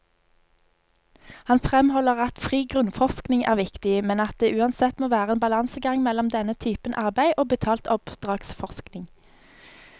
Han fremholder at fri grunnforskning er viktig, men at det uansett må være en balansegang mellom denne typen arbeid og betalt oppdragsforskning.